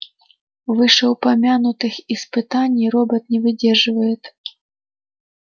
вышеупомянутых испытаний робот не выдерживает